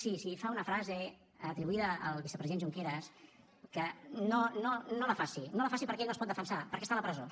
sí si fa una frase atribuïda al vicepresident junqueras que no la faci no la faci perquè ell no es pot defensar perquè està a la presó